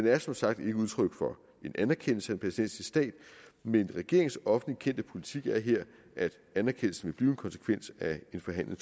er som sagt ikke udtryk for en anerkendelse af en palæstinensisk stat men regeringens offentligt kendte politik er her at anerkendelsen vil blive en konsekvens af en forhandlet